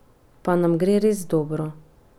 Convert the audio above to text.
Pa nam gre res dobro?